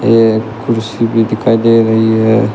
एक कुर्सी भी दिखाई दे रही है।